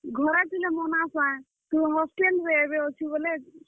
ଘରେ ଥିଲେ ମନାସାଁ, ତୁଇ hostel ରେ ଏବେ ଅଛୁ ବେଲେ।